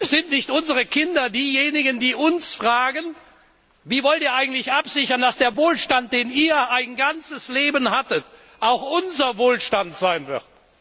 Sind nicht unsere Kinder diejenigen, die uns fragen Wie wollt ihr eigentlich absichern, dass der Wohlstand, den ihr ein ganzes Leben hattet, auch unser Wohlstand sein wird?